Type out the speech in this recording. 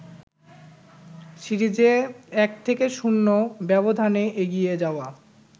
সিরিজে ১-০ ব্যবধানে এগিয়ে যাওয়া